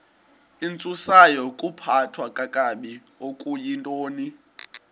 intsusayokuphathwa kakabi okuyintoni